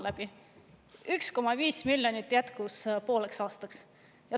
Ja 1,5 miljonist jätkus pooleks aastaks.